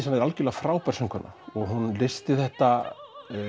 Anna er algjörlega frábær söngkona hún leysti þetta